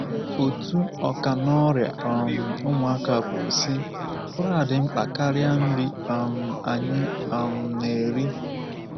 Otu ọkà n’ọrịa um ụmụaka kwuru, sị: “Ụra dị mkpa karịa nri um anyị um na-eri.